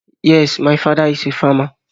Yes, my father is farmer